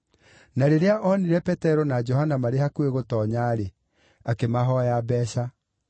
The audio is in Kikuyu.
Na rĩrĩa onire Petero na Johana marĩ hakuhĩ gũtoonya-rĩ, akĩmahooya mbeeca.